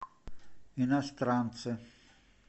иностранцы